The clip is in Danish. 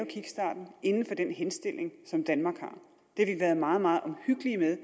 er inden for den henstilling som danmark og det er meget meget omhyggelige med